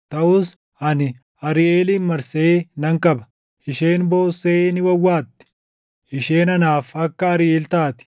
Taʼus ani Ariiʼeelin marsee nan qaba; isheen boossee ni wawwaatti; isheen anaaf akka Ariiʼeel taati.